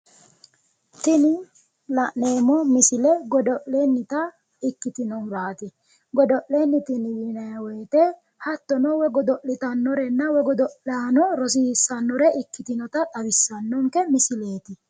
Tini la'neemmo misile godo'lennita iiktinohuraati. godo'lenniti yinayi woyiite hattono godo'litannorenna yaano rosiissannore ikkitinota xawissannonke misileeti.